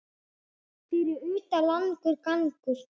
Fyrir utan langur gangur.